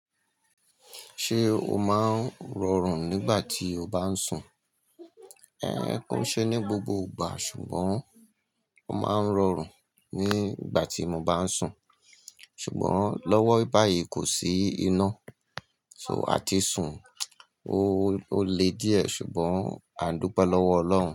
Ṣé o máa ń rọrùn nígbà tí o bá ń sùn? Ko n ṣe ní gbogbo ìgbà ṣùgbọ́n ó máa ń rọrùn nígbà tí mo bá ń sùn. Ṣùgbọ́n lọ́wọ́ báyìí kò sí iná, so a ti sùn, o le díẹ̀ ṣùgbọ́n a ń dúpẹ́ lọ́wọ́ Ọlọ́run.